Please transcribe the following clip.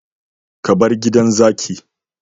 Ka bar gidan zaki